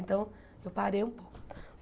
Então, eu parei um pouco.